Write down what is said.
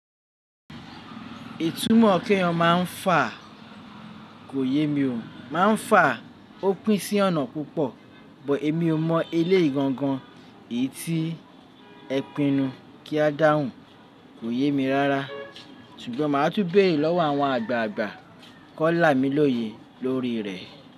Itúmọ̀ kí ẹyan má n fà kò yé mi o. Má n fà ó pín sí ọ̀nà púpọ̀ bọ̀ èmi o mọ eléegangan èyí tí ẹ pinu kí a dáhùn kò yé mi rárá, ṣùgbọ́n màá túbéèrè lọ́wọ́ àwọn àgbààgbà kọ́ lámi lóye lórí rẹ̀.